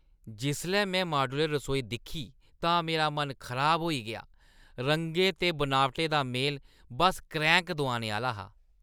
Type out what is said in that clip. जिसलै में माड्यूलर रसोई दिक्खी तां मेरा मन खराब होई गेआ। रंगें ते बनावटें दा मेल बस क्रैंह्‌क दोआने आह्‌ला हा।